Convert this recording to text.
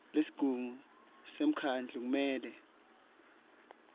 lesigungu semkhandlu kumele